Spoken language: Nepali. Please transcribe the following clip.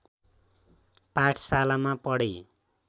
पाठशालामा पढे